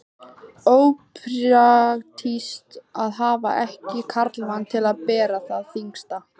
Ópraktískt að hafa ekki karlmann til að bera það þyngsta.